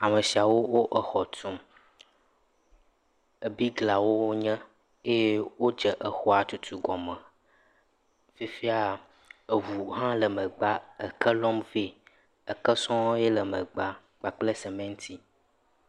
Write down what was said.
Ame siawo le xɔ tum. Biglawoe wonye eye wodze xɔa tutu gɔme. Fifia ŋu hã le megbea ke lɔm vɛ. Ke sɔ̃ɔ ye le megbea kple simiti.